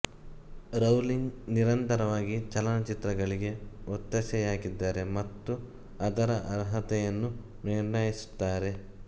Rowling ನಿರಂತರವಾಗಿ ಚಲನಚಿತ್ರಗಳಿಗೆ ಒತ್ತಾಸೆಯಾಗಿದ್ದಾರೆ ಮತ್ತು ಅದರ ಆರ್ಹತೆಯನ್ನು ನಿರ್ಣಯಿಸುತ್ತಾರೆ